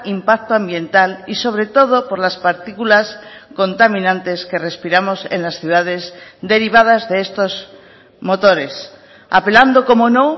impacto ambiental y sobre todo por las partículas contaminantes que respiramos en las ciudades derivadas de estos motores apelando como no